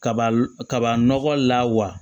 Kaba kaba nɔgɔ la wa